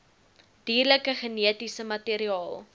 dierlike genetiese materiaal